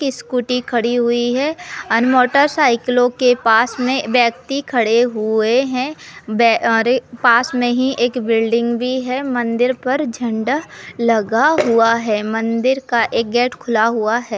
एक स्कूटी खड़ी हुई है एंड मोटरसाइकिलों के पास में व्यक्ति खड़े हुए हैं। बै -- और एक पास में ही एक बिल्डिंग भी हैं। मंदिर पर झंडा लगा हुआ है। मंदिर का एक गेट खुला हुआ है।